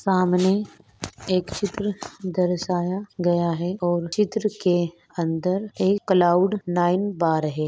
सामने एक चित्र दर्शाया गया है और चित्र के अंदर एक क्लाउड नाइन बार है।